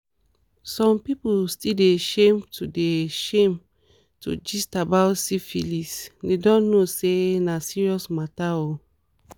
some people still dey shame to dey shame to gist about syphilisthey don't know say na serious matter o